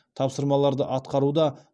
тапсырмаларды атқаруда